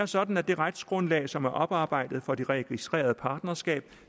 sådan at det retsgrundlag som er oparbejdet for det registrerede partnerskab